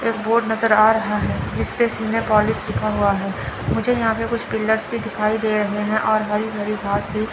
एक बोर्ड नज़र आ रहा है जिसपे सीने पोलीश लिखा हुआ हैं मुझे यहां पे कुछ पिलर्स भी दिखाई दे रहे है और हरी भरी घास भी --